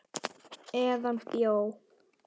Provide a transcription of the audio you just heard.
Eða bjó.